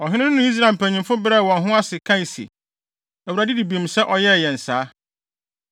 Ɔhene no ne Israel mpanyimfo brɛɛ wɔn ho ase, kae se, “ Awurade di bem sɛ ɔyɛɛ yɛn saa!”